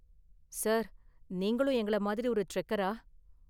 Sir, நீங்களும் எங்கள மாதிரி ஒரு ட்ரெக்கரா?